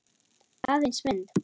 Aðeins mynd.